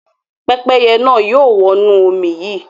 Pẹ́pẹ́yẹ náà yóò wọnú omi yìí.